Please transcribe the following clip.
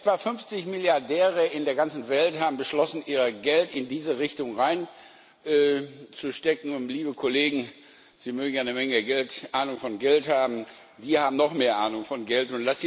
Etwa 50 Milliardäre in der ganzen Welt haben beschlossen, ihr Geld in diese Richtung zu investieren. Liebe Kollegen, Sie mögen ja eine Menge Ahnung von Geld haben, aber die haben noch mehr Ahnung von